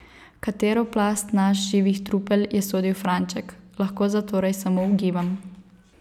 V katero plast nas živih trupel je sodil Franček, lahko zatorej samo ugibam.